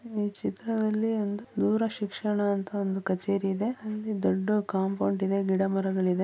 ಈ ಚಿತ್ರದಲ್ಲಿ ಒಂದು ದೂರ ಶಿಕ್ಷಣ ಅಂತ ಒಂದು ಕಚೇರಿ ಇದೆ ಅಲ್ಲಿ ದೊಡ್ಡ ಕಾಂಪೌಂಡ್ ಇದೆ ಗಿಡಮರಗಳಿದೆ .